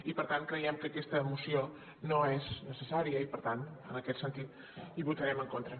i per tant creiem que aquesta moció no és necessària i per tant en aquest sentit hi votarem en contra